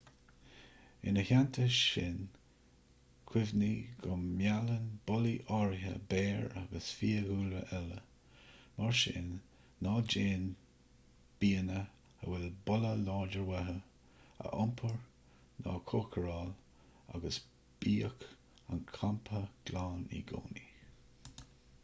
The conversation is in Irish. ina theannta sin cuimhnigh go meallann bolaí áirithe béir agus fiadhúlra eile mar sin ná déan bianna a bhfuil boladh láidir uathu a iompar ná a chócaráil agus bíodh an campa glan i gcónaí